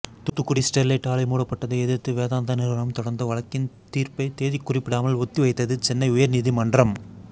Thoothukudi Sterlite ஆலை மூடப்பட்டதை எதிர்த்து வேதாந்தா நிறுவனம் தொடர்ந்த வழக்கின் தீர்ப்பை தேதி குறிப்பிடாமல் ஒத்திவைத்தது சென்னை உயர்நீதிமன்றம்